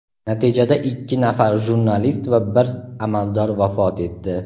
Natijada ikki nafar jurnalist va bir amaldor vafot etdi.